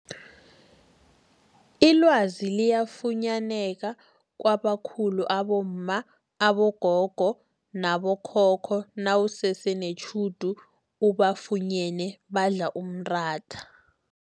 Ilwazi liyafunyaneka kwabakhulu abomma, abogogo nabo khokho nawusese netjhudu ubafunyene badla umratha.